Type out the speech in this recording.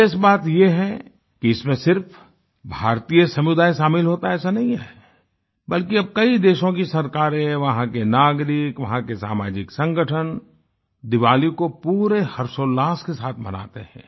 विशेष बात यह कि इसमें सिर्फ भारतीय समुदाय शामिल होता है ऐसा नहीं है बल्कि अब कई देशों की सरकारें वहां के नागरिक वहां के सामाजिक संगठन दिवाली को पूरे हर्षोल्लास के साथ मनाते हैं